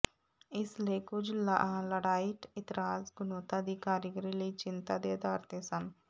ਇਸ ਲਈ ਕੁੱਝ ਲਾਡਾਈਟ ਇਤਰਾਜ਼ ਗੁਣਵੱਤਾ ਦੀ ਕਾਰੀਗਰੀ ਲਈ ਚਿੰਤਾ ਦੇ ਆਧਾਰ ਤੇ ਸਨ